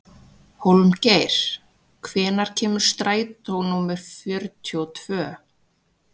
Hólmgeir, hvenær kemur strætó númer fjörutíu og tvö?